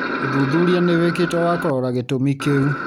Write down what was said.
ũthuthuria nĩ wĩktwo wa kũrora gĩtũmi kĩu.